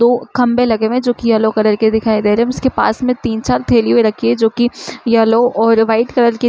दो खम्बे लगे हुए है जो की येलो कलर के दिखाई दे रहे है उसके पास तीन चार थेलिया रखी है जो की येलो और वाइट कलर की--